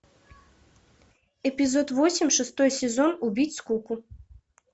эпизод восемь шестой сезон убить скуку